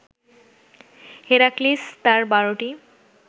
Heracles তার বারোটি